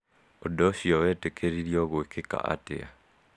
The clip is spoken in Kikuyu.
Ũndũ ũcio wetĩkĩririo gũĩkika atĩa?